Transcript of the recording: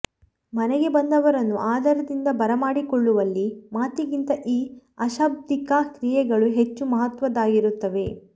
ಮನೆಗೆ ಬಂದವರನ್ನು ಆದರದಿಂದ ಬರಮಾಡಿಕೊಳ್ಳುವಲ್ಲಿ ಮಾತಿಗಿಂತ ಈ ಅಶಾಬ್ದಿಕ ಕ್ರಿಯೆಗಳು ಹೆಚ್ಚು ಮಹತ್ವದ್ದಾಗಿರುತ್ತವೆ